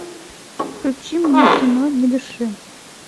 включи мне кино не дыши